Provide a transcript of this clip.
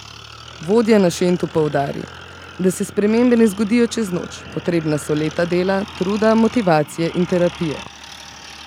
Vodja na Šentu poudari, da se spremembe ne zgodijo čez noč: 'Potrebna so leta dela, truda, motivacije in terapije.